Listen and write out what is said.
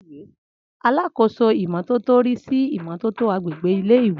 Alákóso ìmọ́tótó rí sí ìmọ́tótó agbègbè ilé ìwé